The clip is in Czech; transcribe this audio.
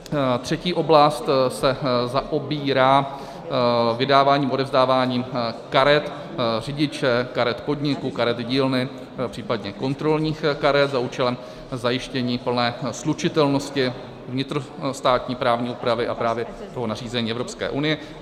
Třetí oblast se zaobírá vydáváním a odevzdáváním karet řidiče, karet podniku, karet dílny, případně kontrolních karet za účelem zajištění plné slučitelnosti vnitrostátní právní úpravy a právě toho nařízení Evropské unie.